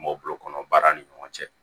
M'o bolokɔnɔ baara ni ɲɔgɔn cɛ